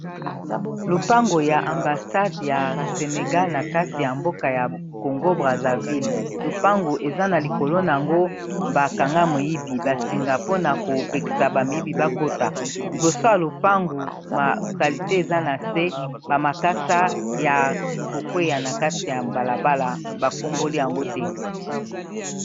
Lopango ya ambasade ya senegal na kati ya mboka ya congo brazzaville lupangu eza na likolo na yango bakanga moyibi basinga mpona kopekisa bamoyibi bakota liboso ya lopangu masalite eza na se bamakasa ya kokwea na kati ya mbalabala bakomboli yango te